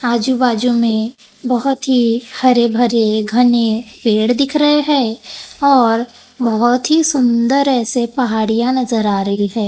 आजू बाजू में बहोत ही हरे भरे घने पेड़ दिख रहे हैं और बहोत ही सुंदर ऐसे पहाड़ियां नजर आ रही है।